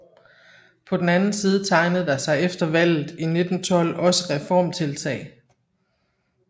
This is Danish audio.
På den anden side tegnede der sig efter valget i 1912 også reformtiltag